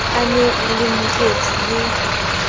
a na le moetsi le